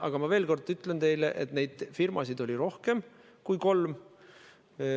Aga ma veel kord ütlen teile, et neid firmasid oli rohkem kui kolm.